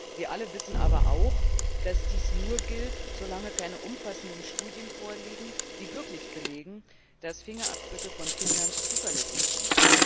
Wir alle wissen aber auch, dass dies nur gilt, solange keine umfassenden Studien vorliegen, die wirklich belegen, dass Fingerabdrücke von Kindern zuverlässig sind.